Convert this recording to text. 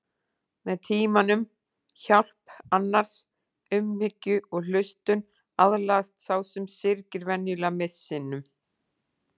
Með tímanum, hjálp annarra, umhyggju og hlustun aðlagast sá sem syrgir venjulega missinum.